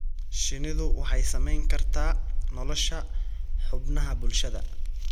Shinnidu waxay saamayn kartaa nolosha xubnaha bulshada.